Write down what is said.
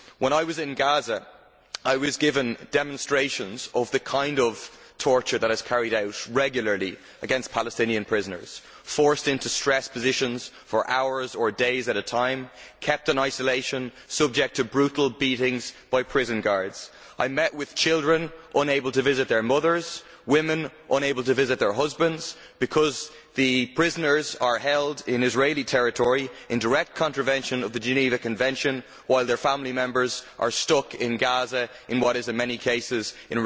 When I was in Gaza, I was given demonstrations of the kind of torture that is carried out regularly against Palestinian prisoners they are forced into stress positions for hours or days at a time, kept in isolation and subjected to brutal beatings by prison guards. I met with children unable to visit their mothers, and women unable to visit their husbands, because the prisoners are held in Israeli territory, in direct contravention of the Geneva Convention, while their family members are stuck in Gaza in what is in many cases effectively